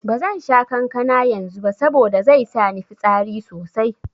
Bazan sha kankana yanzu ba saboda zai sa ni fitsari sosai.